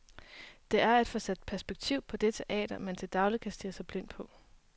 Det er at få sat perspektiv på det teater, man til daglig kan stirre sig blind på.